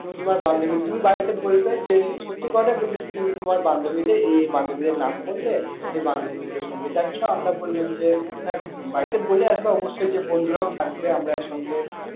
তুমি তোমার বান্ধবী, তুমি বাড়িতে বলবে যে সত্যি কথাই বলবে যে তুমি তোমার বান্ধবীদের এই এই বান্ধবীদের নাম করলে সেই বান্ধবী গুলোর সঙ্গে যাচ্ছ আমরা বললাম যে হ্যাঁ বাড়িতে বলে আসবে অবশ্যই যে বন্ধুরাও থাকবে আমরা এক সঙ্গে